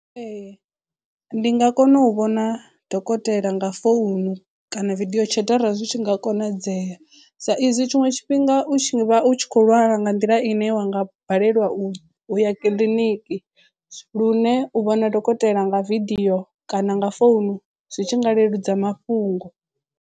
Ee ndi nga kona u vhona dokotela nga founu kana video chat arali zwi tshi nga konadzea sa izwi tshiṅwe tshifhinga u tshi vha u tshi kho lwala nga nḓila ine wa nga balelwa u u ya kiḽiniki lune u vhona dokotela nga video kana nga founu zwi tshi nga leludza mafhungo.